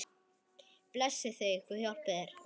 Blessi þig.